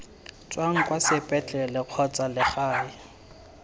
tswang kwa sepetlele kgotsa legae